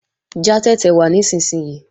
Já tẹ̀tẹ̀ wá nísinsìnyí!